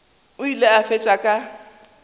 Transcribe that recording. o ile a fetša ka